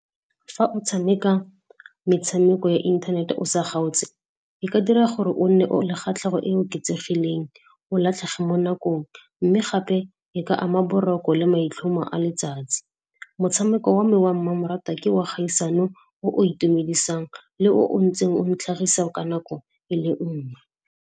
Fa o tshameka metshameko ya inthanete o sa kgaotse, e ka dira gore o nne le kgatlhego e oketsegileng, o latlhege mo nakong, mme gape e ka ama boroko le maitlhomo a letsatsi. Motshameko wa me wa mmamoratwa ke wa kgaisano o o itumedisang le o o ntseng o ntlhagisa ka nako e le nngwe.